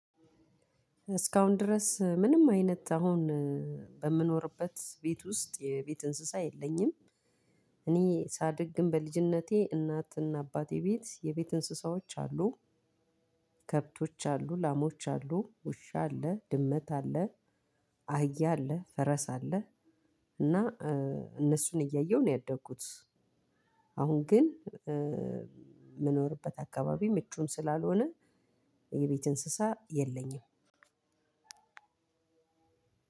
እስካሁን ድረስ ምንም አይነት አሁን በምኖርበት ቤት ውስጥ የቤት እንስሳ የለኝም። እኔ ሳድግ ግን በልጅነቴ እናትና አባቴ ቤት የቤት እንስሳዎች አሉ። ከብቶች አሉ ላሞች አሉ ውሻ አለ ድመት አለ። አህያ አለ ፈረስ አለ። እና እነሱን እያየሁ ነው ያደኩት። አሁን ግን ምንኖርበት አካባቢ ምቹም ስላልሆነ የቤት እንሰሳ የለኝም።